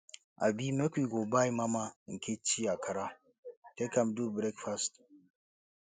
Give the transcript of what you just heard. abi make you go buy mama nkechi akara take am do breakfast